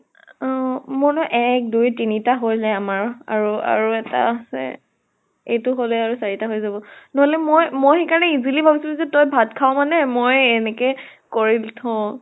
অহ মোৰ যে এক দুই তিনিটা হল আমাৰ আৰু এটা আছে। এইটো হলে আৰু চাৰিটা হৈ যাব। নহলে মই মই সেইকাৰণে easily ভাবিছো যে তই ভাত খাৱ মানে ময়ে এনেকে কৰি দি থও।